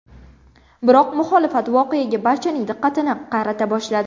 Biroq muxolifat voqeaga barchaning diqqatini qarata boshladi .